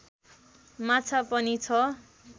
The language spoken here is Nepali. माछा पनि छ